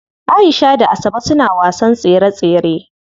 Aisha da Asabe suna wasan tsere tsere.